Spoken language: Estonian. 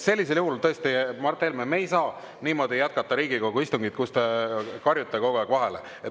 Sellisel juhul tõesti, Mart Helme, me ei saa jätkata Riigikogu istungit, kui te karjute kogu aeg vahele.